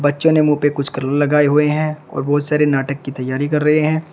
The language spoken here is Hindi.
बच्चों ने मुँह पे कलर लगाए हुए हैं और बहुत सारे नाटक की तैयारी कर रहे हैं।